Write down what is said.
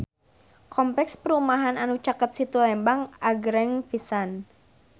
Kompleks perumahan anu caket Situ Lembang agreng pisan